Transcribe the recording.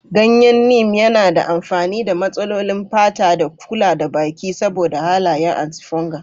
Ganyen Neem yana da amfani ga matsalolin fata da kula da baki saboda halayen antifungal.